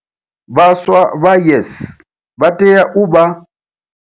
Vhaswa vha YES vha tea u vha.